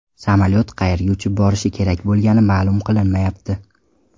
Samolyot qayerga uchib borishi kerak bo‘lgani ma’lum qilinmayapti.